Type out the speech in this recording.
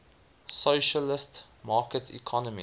socialist market economy